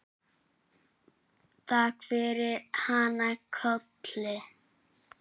Takk fyrir hana Kollu.